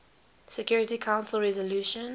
security council resolution